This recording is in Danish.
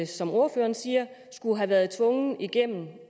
som ordføreren siger have været tvunget igennem